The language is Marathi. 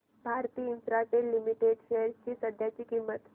भारती इन्फ्राटेल लिमिटेड शेअर्स ची सध्याची किंमत